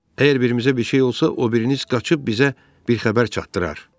Əgər birimizə bir şey olsa, o biriniz qaçıb bizə bir xəbər çatdırar.